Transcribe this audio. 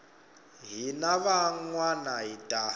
hina van wana hi ta